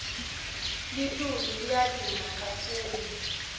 litulu liya duma kakhulu